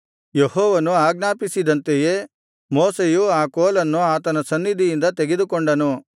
ಯೆಹೋವನು ಆಜ್ಞಾಪಿಸಿದಂತೆಯೇ ಮೋಶೆಯು ಆ ಕೋಲನ್ನು ಆತನ ಸನ್ನಿಧಿಯಿಂದ ತೆಗೆದುಕೊಂಡನು